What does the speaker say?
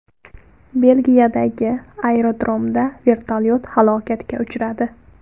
Belgiyadagi aerodromda vertolyot halokatga uchradi.